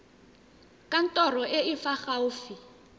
kantorong e e fa gaufi